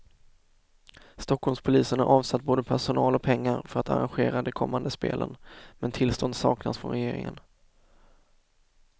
Stockholmspolisen har avsatt både personal och pengar för att arrangera de kommande spelen, men tillstånd saknas från regeringen.